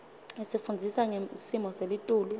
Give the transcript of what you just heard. isifundzisa ngesmo selitulu